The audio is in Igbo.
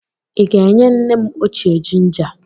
Ị ga-enye nne m ochie jinja?